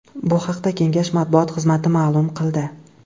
Bu haqda Kengash matbuot xizmati ma’lum qildi .